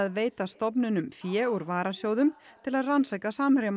veita stofnunum fé úr varasjóðum til að rannsaka